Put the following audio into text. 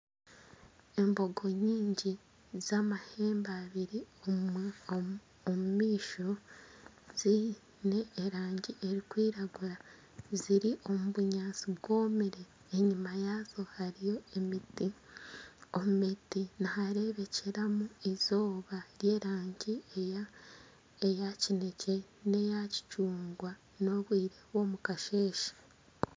Embogo nyingi zamahembe abiri omumaisho ziine erangi erukwiragura ziri omubunyantsi bwomire enyuma yazo hariyo emiti, omumiti niharebekyeramu izooba ry'erangi eya kinekye neya kicungwa n'obwire bw'omukasheshe.